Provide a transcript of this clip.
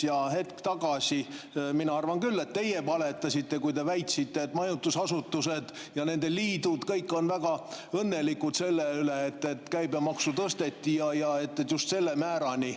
Aga hetk tagasi, mina arvan küll, et teie valetasite, kui te väitsite, et majutusasutused ja nende liidud kõik on väga õnnelikud selle üle, et käibemaksu tõsteti, ja just selle määrani.